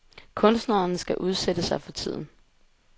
Kunstneren skal udsætte sig for tiden.